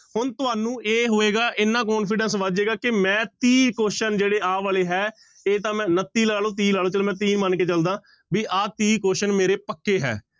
ਹੁਣ ਤੁਹਾਨੂੰ ਇਹ ਹੋਏਗਾ ਇੰਨਾ confidence ਵੱਧ ਜਾਏਗਾ ਕਿ ਮੈਂ ਤੀਹ question ਜਿਹੜੇ ਆਹ ਵਾਲੇ ਹੈ ਇਹ ਤਾਂ ਮੈਂ ਉਣੱਤੀ ਲਾ ਲਓ ਤੀਹ ਲਾ ਲਓ, ਚਲੋ ਮੈਂ ਤੀਹ ਮੰਨ ਕੇ ਚੱਲਦਾਂ ਵੀ ਆਹ ਤੀਹ question ਮੇਰੇ ਪੱਕੇ ਹੈ